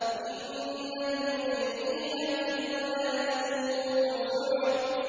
إِنَّ الْمُجْرِمِينَ فِي ضَلَالٍ وَسُعُرٍ